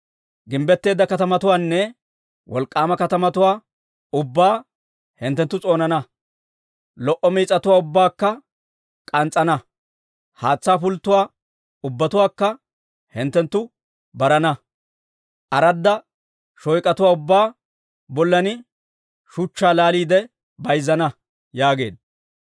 Gimbbetteedda katamatuwaanne wolk'k'aama katamatuwaa ubbaa hinttenttu s'oonana. Lo"o mitsatuwaa ubbaakka k'ans's'ana; haatsaa pulttotuwaa ubbatuwaakka hinttenttu barana; aradda shoyk'atuwaa ubbaa bollan shuchchaa laaliide bayzzana» yaageedda.